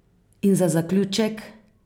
In za zaključek?